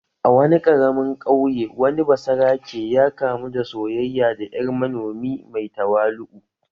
A wani ƙaramin ƙauye, wani basarake ya kamu da soyayya da ‘yar manomi mai tawali’u.